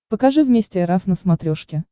покажи вместе эр эф на смотрешке